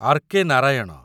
R.K.. Narayan